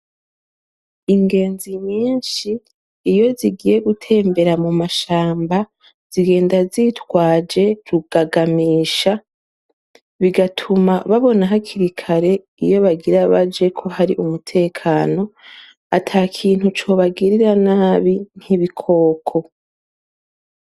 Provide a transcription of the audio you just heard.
Ingenzi nyishi iyi zigiye gutembera mumashamba zigenda zitwaje rugagamisha bigatuma babona hakiri kare iyo bagira baje kohari umutekano atakintu cobagirira nabi nk'ibikoko.